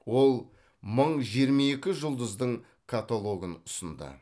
ол мың жиырма екі жұлдыздың каталогын ұсынды